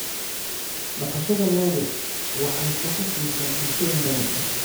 Dhaqashada lo'du waxay shaqo siisaa bulshooyin badan.